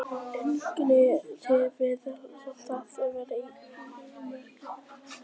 Enginn veit nákvæmlega hvað stjörnurnar í alheiminum eru margar.